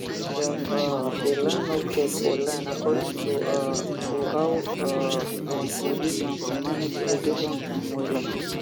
dem um dey line up keg for line according um to how um dem go use am to manage irrigation time wella